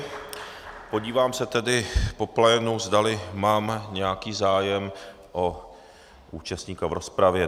Podívám se tedy po plénu, zdali mám nějaký zájem o účastníka v rozpravě.